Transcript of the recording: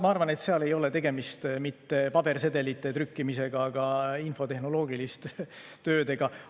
Ma arvan, et seal ei ole tegemist mitte pabersedelite trükkimisega, vaid infotehnoloogiliste töödega.